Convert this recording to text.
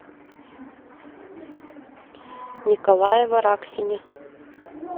николае вараксине